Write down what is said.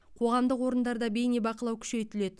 қоғамдық орындарда бейнебақылау күшейтіледі